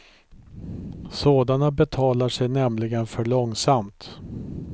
Sådana betalar sig nämligen för långsamt.